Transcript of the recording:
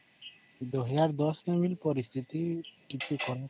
ଦୁଇ ହଜାର ଦସ ବେଳ ର ପରିସ୍ଥିତି ଟିକିଏ ଖରାପ